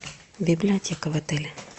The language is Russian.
библиотека в отеле